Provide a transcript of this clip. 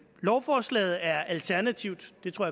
lovforslaget er alternativt det tror